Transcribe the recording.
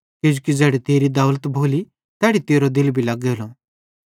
किजोकि ज़ैड़ी तेरी दौलत भोली तैड़ी तेरो दिल भी लग्गेलो